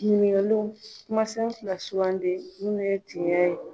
Ɲininkaliw: kumasen fila sugandi ninnu ye tiɲɛ ye.